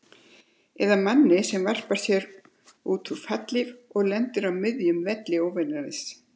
Eða manni sem varpar sér út í fallhlíf og lendir á miðjum velli óvinarins.